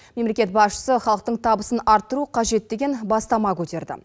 мемлекет басшысы халықтың табысын арттыру қажет деген бастама көтерді